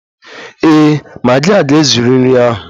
Ee, magi a ga-ezuru nri ahụ